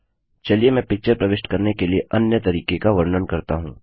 चलिए मैं पिक्चर प्रविष्ट करने के लिए अन्य तरीके का वर्णन करता हूँ